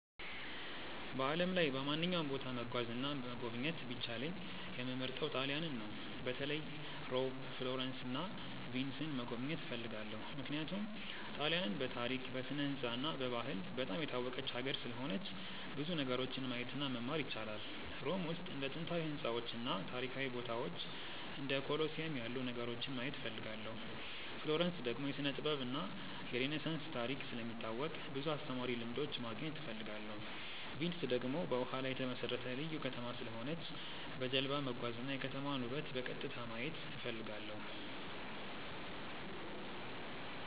በዓለም ላይ በማንኛውም ቦታ መጓዝ እና መጎብኘት ቢቻለኝ የምመርጠው ጣሊያንን ነው። በተለይ ሮም፣ ፍሎረንስ እና ቪንስን መጎብኘት እፈልጋለሁ። ምክንያቱም ጣሊያንን በታሪክ፣ በስነ-ሕንፃ እና በባህል በጣም የታወቀች ሀገር ስለሆነች ብዙ ነገሮችን ማየት እና መማር ይቻላል። ሮም ውስጥ እንደ ጥንታዊ ሕንፃዎች እና ታሪካዊ ቦታዎች እንደ ኮሎሲየም ያሉ ነገሮችን ማየት እፈልጋለሁ። ፍሎረንስ ደግሞ የስነ-ጥበብ እና የሬነሳንስ ታሪክ ስለሚታወቅ ብዙ አስተማሪ ልምዶች ማግኘት እፈልጋለሁ። ቪንስ ደግሞ በውሃ ላይ የተመሠረተ ልዩ ከተማ ስለሆነች በጀልባ መጓዝ እና የከተማዋን ውበት በቀጥታ ማየት እፈልጋለሁ።